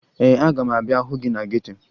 Ee, aga m abịa hụ gị na geto